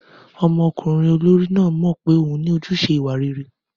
Ọmọkùnrin olórí náà mọ̀ pé òun ní ojúṣe ìwà rere.